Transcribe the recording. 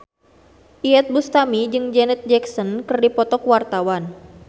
Iyeth Bustami jeung Janet Jackson keur dipoto ku wartawan